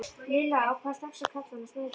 Lilla ákvað strax að kalla hana Snæfríði.